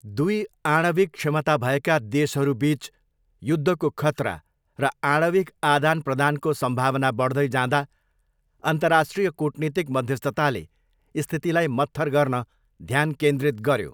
दुई आणविक क्षमता भएका देशहरूबिच युद्धको खतरा र आणविक आदानप्रदानको सम्भावना बढ्दै जाँदा, अन्तर्राष्ट्रिय कूटनीतिक मध्यस्थताले स्थितिलाई मत्थर गर्न ध्यान केन्द्रित गऱ्यो।